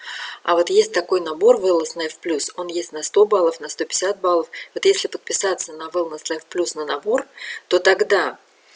а вот есть такой набор велнес лайф плюс он есть на сто баллов на сто пятьдесят баллов вот если подписаться на велнес лайф плюс на набор то тогда